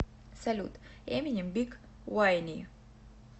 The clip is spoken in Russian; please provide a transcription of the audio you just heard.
салют эминем биг вайни